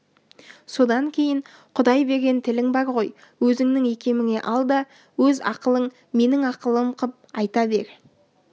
содан кейін құдай берген тілің бар ғой өзіңнің икеміңе ал да өз ақылың менің ақылым қып айта бер